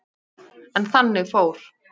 En þannig fór.